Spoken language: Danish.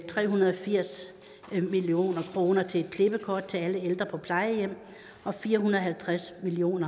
tre hundrede og firs million kroner til et klippekort til alle ældre på plejehjem og fire hundrede og halvtreds million